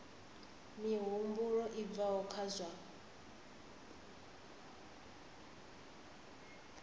mihumbulo i bvaho kha zwa